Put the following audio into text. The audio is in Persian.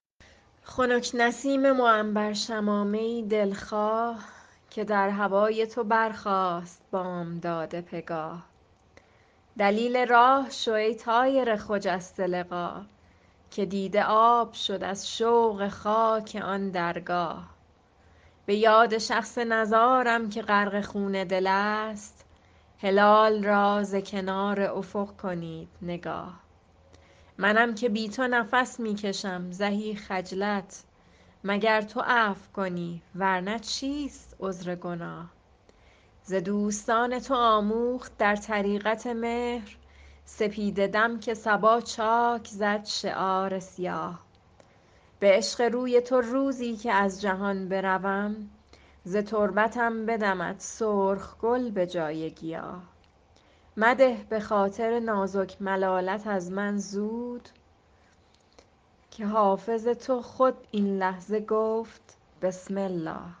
خنک نسیم معنبر شمامه ای دل خواه که در هوای تو برخاست بامداد پگاه دلیل راه شو ای طایر خجسته لقا که دیده آب شد از شوق خاک آن درگاه به یاد شخص نزارم که غرق خون دل است هلال را ز کنار افق کنید نگاه منم که بی تو نفس می کشم زهی خجلت مگر تو عفو کنی ور نه چیست عذر گناه ز دوستان تو آموخت در طریقت مهر سپیده دم که صبا چاک زد شعار سیاه به عشق روی تو روزی که از جهان بروم ز تربتم بدمد سرخ گل به جای گیاه مده به خاطر نازک ملالت از من زود که حافظ تو خود این لحظه گفت بسم الله